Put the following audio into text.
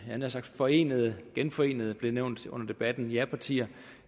forenede ja genforenede blev det nævnt under debatten japartier